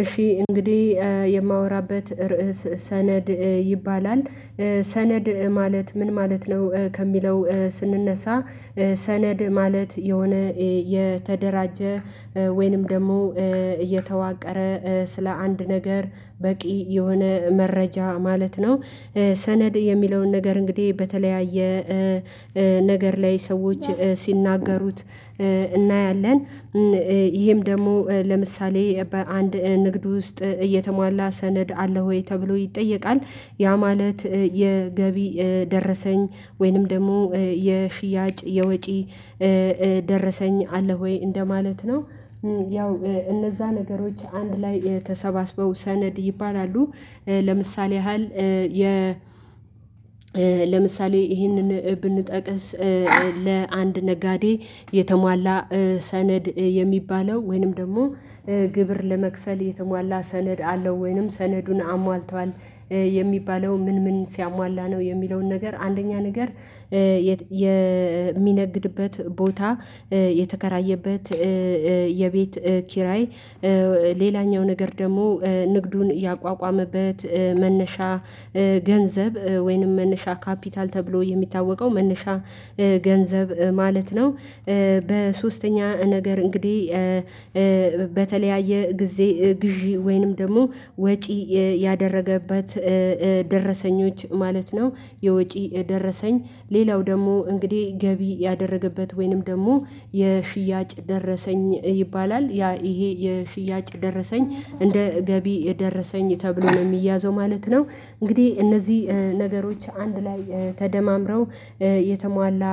እሺ እንግዲህ የማወራበት ርዕስ ሰነድ ይባላል ሰነድ ማለት ምን ማለት ነው ከሚለው ስንነሳ። ሰነድ ማለት የሆነ የተደራጀ ወይንም ደግሞ እየተዋቀረ ስለ አንድ ነገር በቂ የሆነ መረጃ ማለት ነው። ሰነድ የሚለውን ነገር እንግዲህ በተለያየ ነገር ላይ ሰዎች ሲናገሩት እናያለን። ይሄም ደግሞ ለምሳሌ በአንድ ንግድ ውስጥ እየተሟላ ሰነድ አለ ወይ ተብሎ ይጠየቃል? ያ ማለት የገቢ ደረሰኝ ወይንም ደግሞ የሽያጭ የወጪ ደረሰኝ አለ ወይ እንደማለት ነው? ያው እነዛ ነገሮች አንድ ላይ ተሰባስበው ሰነድ ይባላሉ። ለምሳሌ ያህል የ ለምሳሌ ይህንን ብንጠቅስ። ለአንድ ነጋዴ የተሟላ ሰነድ የሚባለው ወይንም ደግሞ ግብር ለመክፈል የተሟላ ሰነድ አለው ወይንም ሰነዱን አሟልቷል የሚባለው ምን ምን ሲያሟላ ነው የሚለውን ነገር አንደኛ ነገር። የሚነግድበት ቦታ የተከራየበት የቤት ኪራይ ሌላኛው ነገር ደግሞ ንግዱን ያቋቋመበት መነሻ ገንዘብ ወይንም መነሻ ካፒታል ተብሎ የሚታወቀው መነሻ ገንዘብ ማለት ነው። በሶስተኛ ነገር እንግዲህ በተለያየ ጊዜ ግዢ ወይንም ደግሞ ወጪ ያደረገበት ደረሰኞች ማለት ነው። የወጪ ደረሰኝ ሌላው ደግሞ እንግዲህ ገቢ ያደረገበት ወይንም ደግሞ የሽያጭ ደረሰኝ ይባላል ያ ይሄ የሽያጭ ደረሰኝ እንደ ገቢ ደረሰኝ ተብሎ ነው የሚያዘው ማለት ነው። እንግዲህ እነዚህ ነገሮች አንድ ላይ ተደማምረው የተሟላ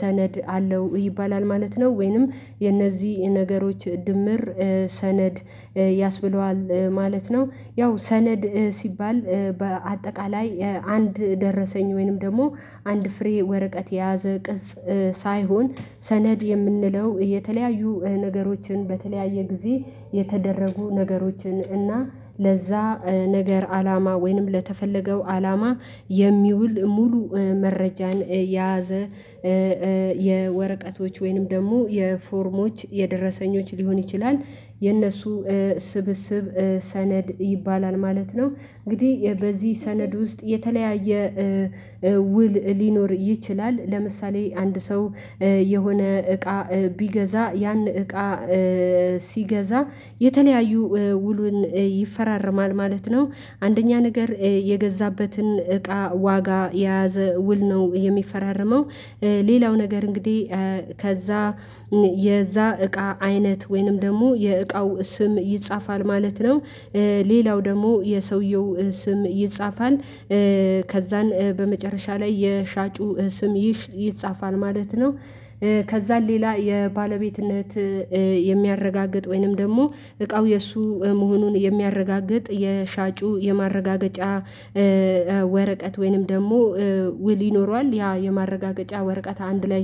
ሰነድ አለው ይባላል ማለት ነው ወይንም የነዚህ ነገሮች ድምር ሰነድ ያስብለዋል ማለት ነው። ያው ሰነድ ሲባል በአጠቃላይ አንድ ደረሰኝ ወይንም ደግሞ አንድ ፍሬ ወረቀት የያዘ ቅጽ ሳይሆን ሰነድ የምንለው የተለያዩ ነገሮችን በተለያየ ጊዜ የተደረጉ ነገሮችን እና ለዛ ነገር አላማ ወይንም ለተፈለገው አላማ የሚውል ሙሉ መረጃን የያዘ የወረቀቶች ወይንም ደግሞ የፎርሞች የደረሰኞች ሊሆን ይችላል። የእነሱ ስብስብ ሰነድ ይባላል ማለት ነው። እንግዲህ የበዚህ ሰነድ ውስጥ የተለያየ ውል ሊኖር ይችላል ለምሳሌ አንድ ሰው የሆነ እቃ ቢገዛ ያን እቃ ሲገዛ የተለያዩ ውሉን ይፈራረማል ማለት ነው። አንደኛ ነገር የገዛበትን እቃ ዋጋ የያዘ ውል ነው የሚፈራረመው። ሌላው ነገር እንግዲህ ከዛ የዛ እቃ አይነት ወይንም ደግሞ የእቃው ስም ይጻፋል ማለት ነው። ሌላው ደግሞ የሰውየው ስም ይጻፋል። ከዛን በመጨረሻ ላይ የሻጩ ስም ይጻፋል ማለት ነው። ከዛን ሌላ የባለቤትነት የሚያረጋግጥ ወይንም ደግሞ እቃው የእሱ መሆኑን የሚያረጋግጥ የሻጩ የማረጋገጫ ወረቀት ወይንም ደግሞ ውል ይኖረዋል ያ የማረጋገጫ ወረቀት አንድ ላይ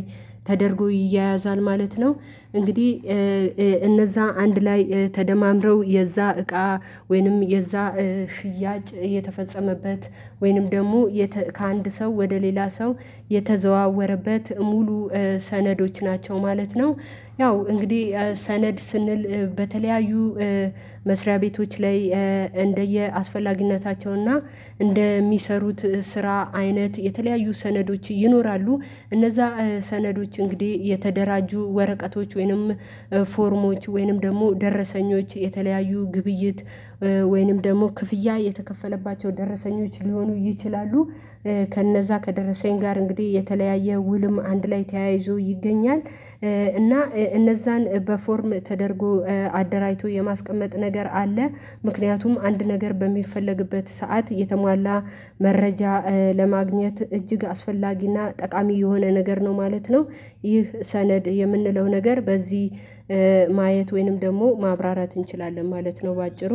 ተደርጎ ይያያዛል ማለት ነው። እንግዲህ እነዛ አንድ ላይ ተደማምረው የዛ እቃ ወይንም የዛ ሽያጭ የተፈጸመበት ወይንም ደግሞ ከአንድ ሰው ወደ ሌላ ሰው የተዘዋወረበት ሙሉ ሰነዶች ናቸው ማለት ነው። ያው እንግዲህ ሰነድ ስንል በተለያዩ መስሪያ ቤቶች ላይ እንደየአስፈላጊነታቸው እና እንደሚሰሩት ስራ አይነት የተለያዩ ሰነዶች ይኖራሉ። እነዛ ሰነዶች እንግዲህ የተደራጁ ወረቀቶች ወይንም ፎርሞች ወይንም ደግሞ ደረሰኞች የተለያዩ ግብይት ወይንም ደግሞ ክፍያ የተከፈለባቸው ደረሰኞች ሊሆኑ ይችላሉ። ከነዛ ከደረሰኝ ጋር እንግዲህ የተለያየ ውልም አንድ ላይ ተያይዞ ይገኛል። እና እነዛን በፎርም ተደርጎ አደራጅቶ የማስቀመጥ ነገር አለ። ምክንያቱም አንድ ነገር በሚፈለግበት ሰዓት የተሟላ መረጃ ለማግኘት እጅግ አስፈላጊና ጠቃሚ የሆነ ነገር ነው ማለት ነው። ይህ ሰነድ የምንለው ነገር በዚህ ማየት ወይንም ደግሞ ማብራራት እንችላለን ማለት ነው። በአጭሩ